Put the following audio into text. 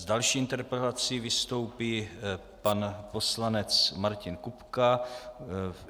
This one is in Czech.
S další interpelací vystoupí pan poslanec Martin Kupka.